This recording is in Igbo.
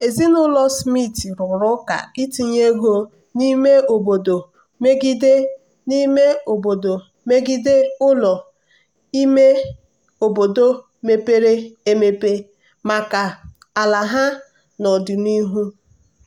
ezinụlọ smith rụrụ ụka itinye ego n'ime obodo megide n'ime obodo megide ụlọ ime obodo mepere emep maka ala ha n'ọdịnihu.